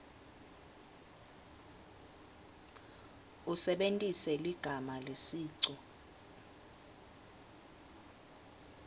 usebentise ligama lesicu